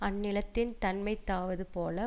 அந்நிலத்தின் தன்மைத்தாவது போல